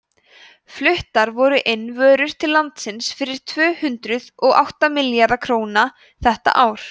fluttar voru inn vörur til landsins fyrir tvö hundruð og átta milljarða króna þetta ár